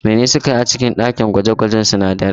Menene suke yi a cikin ɗakin gwaje-gwajen sunadarai?